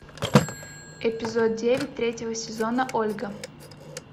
эпизод девять третьего сезона ольга